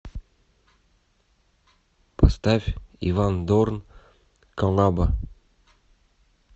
поставь иван дорн коллаба